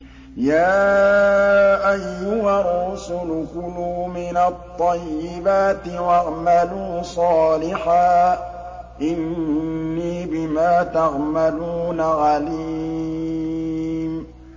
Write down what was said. يَا أَيُّهَا الرُّسُلُ كُلُوا مِنَ الطَّيِّبَاتِ وَاعْمَلُوا صَالِحًا ۖ إِنِّي بِمَا تَعْمَلُونَ عَلِيمٌ